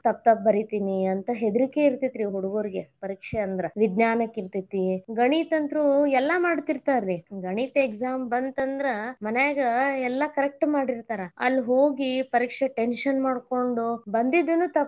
ತಪ್ಪ್ ತಪ್ಪ್ ಬರೀತಿನಿ ಅಂತ ಹೆದ್ರಿಕಿ ಇರತೇತಿ ರೀ ಹುಡುಗುರಿಗೆ ಪರೀಕ್ಷೆ ಅಂದ್ರ. ವಿಜ್ಞಾನ ಕಿರ್ತೈತಿ ಗಣಿತಕ್ಕಂತರು ಎಲ್ಲಾ ಮಾಡತಿರತಾರರಿ ಗಣಿತ exam ಬಂತಂದ್ರ ಮನ್ಯಾಗ ಎಲ್ಲಾ correct ಮಾಡಿರ್ತಾರ ಅಲ್ಹೋಗಿ ಪರೀಕ್ಷೆ tension ಮಾಡ್ಕೊಂಡ್ ಬಂದಿದ್ದನ್ನು ತಪ್ಪ್.